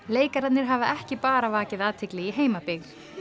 leikararnir hafa ekki bara vakið athygli í heimabyggð